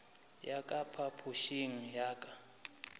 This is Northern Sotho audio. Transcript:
ya ka phapošing ya ka